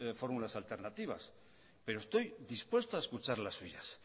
fórmulas alternativas pero estoy dispuesto a escuchar la suyas